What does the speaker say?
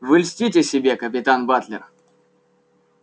вы льстите себе капитан батлер